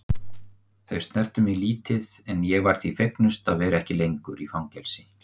Þau snertu mig lítið en ég var því fegnust að vera ekki lengur í fangelsi.